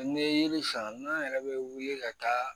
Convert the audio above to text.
Ni ye yiri san n'an yɛrɛ bɛ wuli ka taa